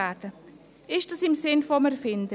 Liegt das im Sinne des Erfinders?